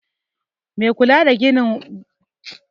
Mai kula da gidan horo nata bacci a lokacin aiki